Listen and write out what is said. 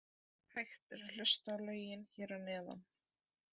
Hægt er að hlusta á lögin hér að neðan.